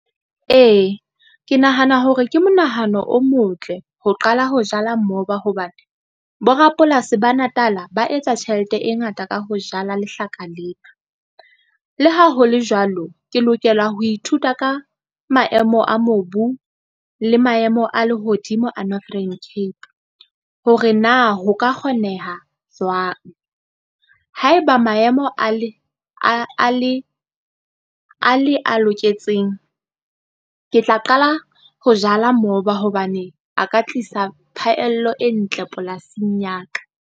Ee, ke nahana hore ke monahano o motle ho qala ho jala mmoba hobane, borapolasi ba Natal-a ba etsa tjhelete e ngata ka ho jala lehlaka lena. Le ha ho le jwalo, ke lokela ho ithuta ka maemo a mobu le maemo a lehodimo a Northern Cape, hore na ho ka kgoneha jwang. Haeba maemo a le a loketseng, ke tla qala ho jala moba hobane a ka tlisa phahello e ntle polasing ya ka.